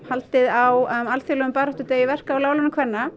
haldið á alþjóðlegum baráttudegi verka og láglaunakvenna